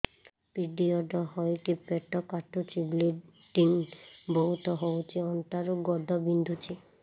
period ହୋଇକି ପେଟ କାଟୁଛି ବ୍ଲିଡ଼ିଙ୍ଗ ବହୁତ ହଉଚି ଅଣ୍ଟା ରୁ ଗୋଡ ବିନ୍ଧୁଛି